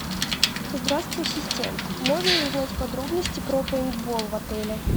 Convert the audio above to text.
здравствуй ассистент можно ли узнать подробности про пейнтбол в отеле